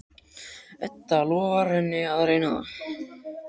Edda lofar henni að reyna það.